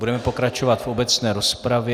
Budeme pokračovat v obecné rozpravě.